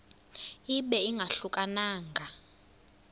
ibe ingahluka nanga